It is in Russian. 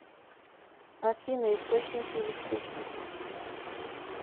афина источники электричество